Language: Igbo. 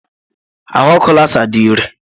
Ahụ ọkụ Lasá dị iré.